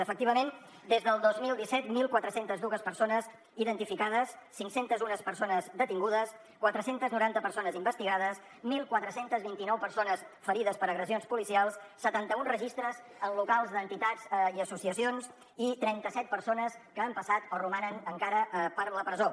efectivament des del dos mil disset catorze zero dos persones identificades cinc cents i un persones detingudes quatre cents i noranta persones investigades catorze vint nou persones ferides per agressions policials setanta un registres en locals d’entitats i associacions i trenta set persones que han passat o romanen encara a la presó